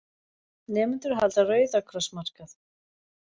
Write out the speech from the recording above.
Nemendur halda Rauða kross markað